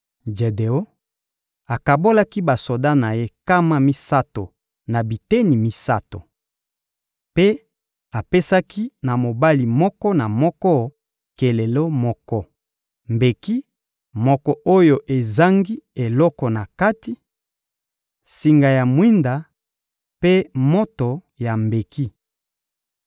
Jedeon akabolaki basoda na ye nkama misato na biteni misato. Mpe apesaki na mobali moko na moko kelelo moko, mbeki moko oyo ezangi eloko na kati, singa ya mwinda mpe moto ya mbeki.